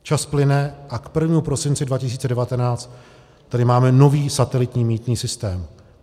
Čas plyne a k 1. prosinci 2019 tady máme nový satelitní mýtný systém.